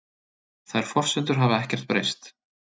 Þær forsendur hafa ekkert breyst